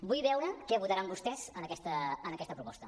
vull veure què votaran vostès en aquesta proposta